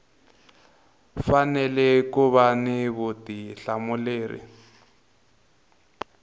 fanele ku va ni vutihlamuleri